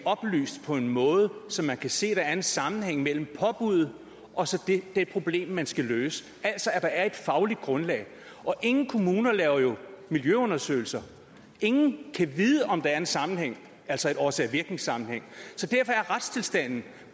oplyst på en måde så man kan se at der er en sammenhæng mellem påbuddet og det problem man skal løse altså at der er et fagligt grundlag og ingen kommuner laver jo miljøundersøgelser ingen kan vide om der er en sammenhæng altså en årsag virkning sammenhæng så derfor er retstilstanden